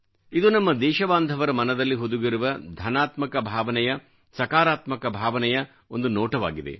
ಇದು ನಮ್ಮ ದೇಶಬಾಂಧವರ ಮನದಲ್ಲಿ ಹುದುಗಿರುವ ಧನಾತ್ಮಕ ಭಾವನೆಯ ಸಕಾರಾತ್ಮಕ ಭಾವನೆಯ ಒಂದು ನೋಟವಾಗಿದೆ